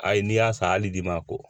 Ayi n'i y'a san hali d'i ma ko